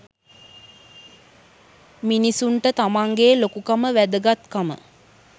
මිනිසුන්ට තමන් ගේ ලොකුකම වැදගත්කම